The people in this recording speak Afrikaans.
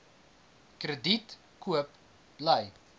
krediet koop bly